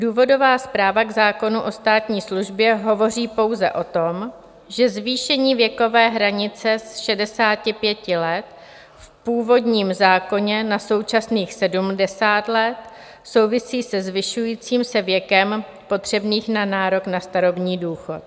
Důvodová zpráva k zákonu o státní službě hovoří pouze o tom, že zvýšení věkové hranice z 65 let v původním zákoně na současných 70 let souvisí se zvyšujícím se věkem potřebným na nárok na starobní důchod.